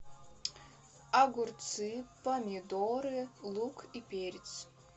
огурцы помидоры лук и перец